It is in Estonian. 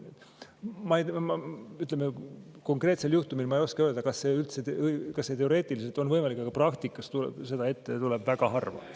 Konkreetse ma ei oska öelda, kas see üldse teoreetiliselt on võimalik, aga praktikas seda ette tuleb väga harva.